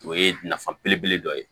O ye nafa belebele dɔ ye